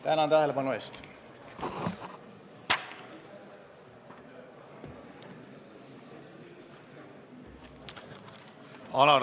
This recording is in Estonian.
Tänan tähelepanu eest!